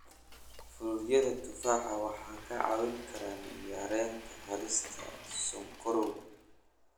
Fruityada tufaaxa waxay ka caawin karaan yareynta halista sonkorowga.